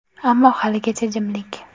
Ammo haligacha jimlik.